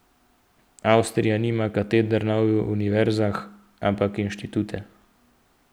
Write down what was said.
Avstrija nima kateder na univerzah, ampak inštitute.